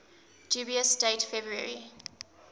dubious date february